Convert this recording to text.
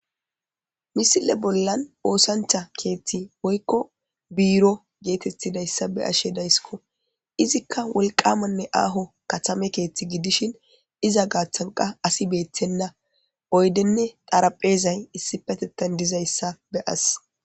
misile bollan oosancha keethti woykko biiro geetettidayssa be ashe dayssko izikka wolqamanne aaho katame keeththi gidishin iza gaaththanqa asi beeththenna oydenne xarapheezay issi petettan dizayssa be as